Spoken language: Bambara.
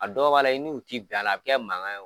A dɔ b'a la i n'u ti bɛn ala a bɛ kɛ mankan ye.